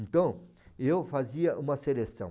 Então, eu fazia uma seleção.